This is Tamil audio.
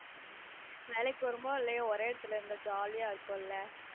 உம் வேலைக்கு போறமோ இல்லயோ ஒரே எடத்துல இருந்தா jolly அ இருக்கும்ல